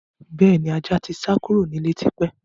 Bẹ́ẹ̀ni, ajá tí sá kúrò nílé tí pẹ́.